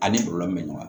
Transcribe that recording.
A ni kɔlɔlɔ bɛ ɲɔgɔn na